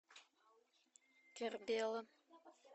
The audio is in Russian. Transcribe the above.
кербела